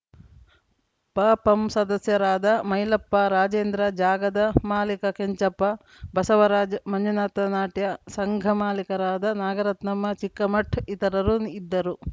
ಪಪಂ ಸದಸ್ಯರಾದ ಮೈಲಪ್ಪ ರಾಜೇಂದ್ರ ಜಾಗದ ಮಾಲಿಕ ಕೆಂಚಪ್ಪ ಬಸವರಾಜ್‌ಮಂಜುನಾಥನಾಟ್ಯ ಸಂಘ ಮಾಲೀಕರಾದ ನಾಗರತ್ನಮ್ಮ ಚಿಕ್ಕಮಠ್‌ ಇತರರು ಇದ್ದರು